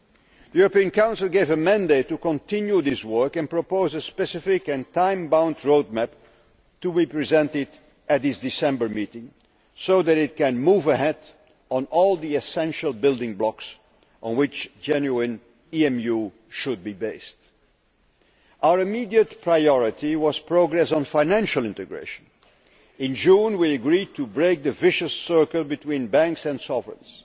The European Council gave a mandate to continue this work and propose a specific and time bound roadmap to be presented at its December meeting so that it can move ahead on all the essential building blocks on which genuine EMU should be based. Our immediate priority was progress on financial integration. In June, we agreed to break the vicious circle between banks and sovereigns.